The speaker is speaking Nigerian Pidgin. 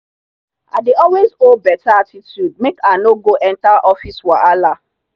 i dey always hold better attitude make i no go enter office wahala.